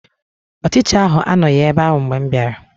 Ọchicha ahụ anọghị ebe ahụ mgbe m bịara